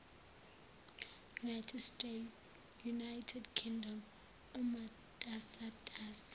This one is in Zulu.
united kingdom imatasatasa